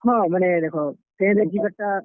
ହଁ, ମାନେ ଦେଖ, train ରେ ଯିବାର୍ ଟା।